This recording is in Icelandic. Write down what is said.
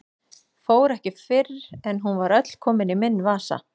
Fór ekki fyrr en hún var öll komin í minn vasa.